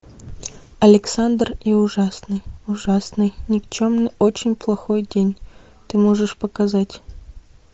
александр и ужасный ужасный никчемный очень плохой день ты можешь показать